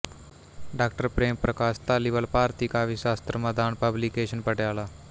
ਡਾ ਪ੍ਰੇਮ ਪ੍ਰਕਾਸ਼ ਧਾਲੀਵਾਲ ਭਾਰਤੀ ਕਾਵਿਸ਼ਾਸਤਰ ਮਦਾਨ ਪਬਲੀਕੇਸ਼ਨ ਪਟਿਆਲਾ